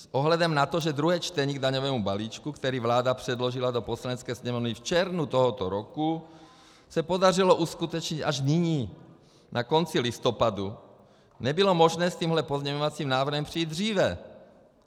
S ohledem na to, že druhé čtení k daňovému balíčku, který vláda předložila do Poslanecké sněmovny v červnu tohoto roku, se podařilo uskutečnit až nyní, na konci listopadu, nebylo možné s tímhle pozměňovacím návrhem přijít dříve.